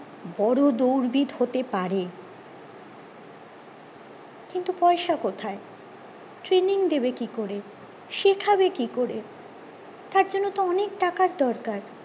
বোরো দৌড়বিদ হতে পারে কিন্তু পয়সা কোথায় Traning দেবে কি করে শেখাবে কি করে তার জন্য তো অনেক টাকার দরকার